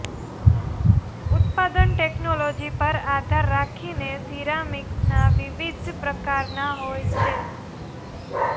ઉત્પાદન ટેકનોલોજી પર આધાર રાખીને સિરામિક્સના વિવિધ પ્રકારના હોય છે